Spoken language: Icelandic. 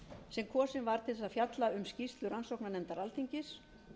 sem kosin var til að fjalla um skýrslu rannsóknarnefndar alþingis